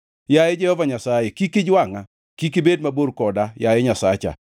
Yaye Jehova Nyasaye, kik ijwangʼa; kik ibed mabor koda, yaye Nyasacha.